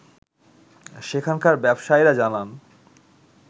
সেখানকার ব্যবসায়ীরা জানান